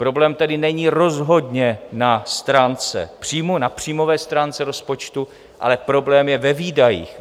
Problém tedy není rozhodně na stránce příjmů, na příjmové stránce rozpočtu, ale problém je ve výdajích.